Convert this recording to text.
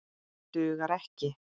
Dugar ekki!